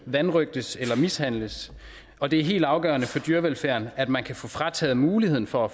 vanrøgtes eller mishandles og det er helt afgørende for dyrevelfærden at man kan få frataget muligheden for at